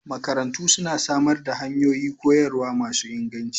Makarantu suna samar da hanyoyi koyarwa masu inganci